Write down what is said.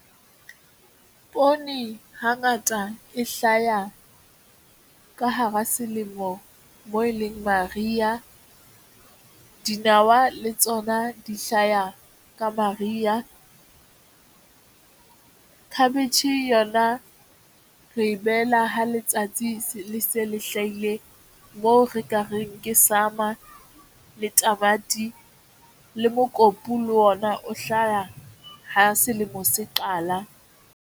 Poone hangata e hlaya ka hara selemo moo e leng mariya. Dinawa le tsona di hlaya ka mariya. Khabetjhe yona re e behela ha letsatsi le se le hlahile moo re ka reng ke summer le tamati le mokopu le ona o hlaha ha selemo se qala.